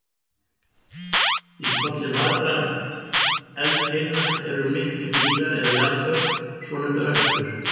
Í kolli margra eldkeilna eru miklir gígar eða jarðföll, svonefndar öskjur.